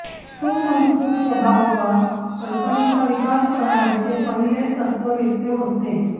सुसंस्कृत स्वभाववाद कल्पनेचा विकास करणारे ते पहिले तत्त्ववेत्ते होते